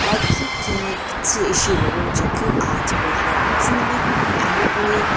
lakhi kini khuthii ishi ilogo chekeu a ipuzuna ghi a hipau ye.